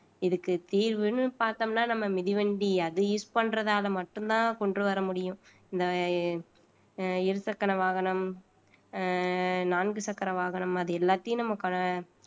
இதுக்கு தீர்வுன்னு பார்த்தோம்னா நம்ம மிதிவண்டி அது use பண்றதால மட்டும்தான் கொண்டு வர முடியும் இந்த இருசக்கர வாகனம் அஹ் நான்கு சக்கர வாகனம் மாதிரி எல்லாத்தையும் நம்ம கா